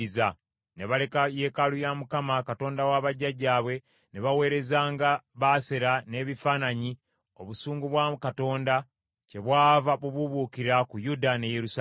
Ne baleka yeekaalu ya Mukama , Katonda wa bajjajjaabwe, ne baweerezanga Baasera n’ebifaananyi, obusungu bwa Katonda kyebwava bubuubuukira ku Yuda ne Yerusaalemi.